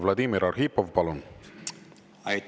Vladimir Arhipov, palun!